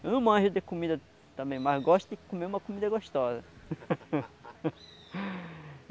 Eu não manjo de comida também, mas gosto de comer uma comida gostosa.